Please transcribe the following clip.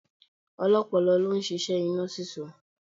Ọlọ́pọlọ ló ń ṣíṣẹ́ iná sísó